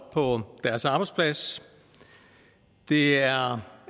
på deres arbejdsplads det er